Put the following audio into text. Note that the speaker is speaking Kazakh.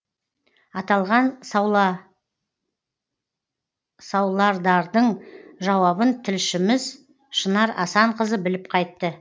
аталған саулардардың жауабын тілшіміз шынар асанқызы біліп қайтты